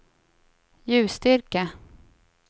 ljusstyrka